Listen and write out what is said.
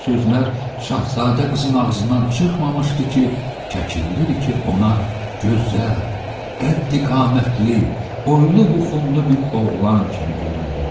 Bu sözlər Şahzadə qızın ağzından çıxmamışdı ki, Kəkilliriki ona gözəl, qəddi-qamətli, boylu-buxunlu bir oğlan kimi göründü.